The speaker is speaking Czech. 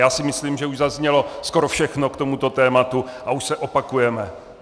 Já si myslím, že už zaznělo skoro všechno k tomuto tématu a už se opakujeme.